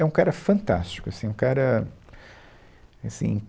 É um cara fantástico, assim, um cara, assim